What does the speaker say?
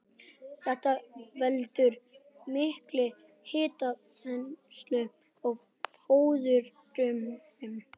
Þetta veldur mikilli hitaþenslu í fóðurrörum.